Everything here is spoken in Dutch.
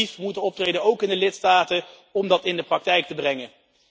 We zullen actief moeten optreden, ook in de lidstaten, om dat in de praktijk te brengen.